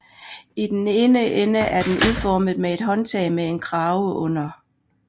I den ene ende er den udformet med et håndtag med en krave under